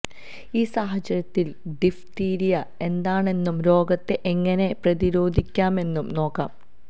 ഈ സാഹചര്യത്തില് ഡിഫ്തീരിയ എന്താണെന്നും രോഗത്തെ എങ്ങനെ പ്രതിരോധിക്കാമെന്നും നോക്കാം